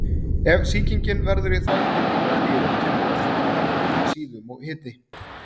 Ef sýkingin verður í þvagpípum eða nýrum kemur oft fram verkur í síðum og hiti.